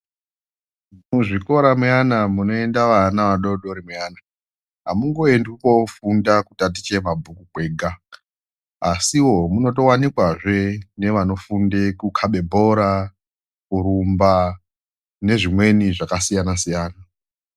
Muzvikora muyana munoenda vana vadodori muyana amungoendwi kofunda kuti vatitye mabhuku kwega asiwo munotowanikwawo zvee nevanofunde kukabe bhora ,kurumba nezvimweni zvakasiyana siyana .